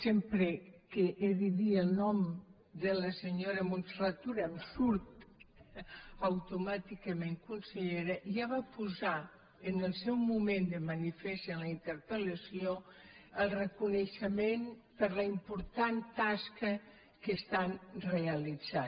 sempre que he de dir el nom de la senyora montserrat tura em surt automàticament consellera ja va posar en el seu moment de manifest en la interpel·lació el reconeixement per la important tasca que estan realitzant